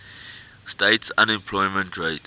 states unemployment rate